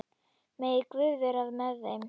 Megi Guð vera með þeim.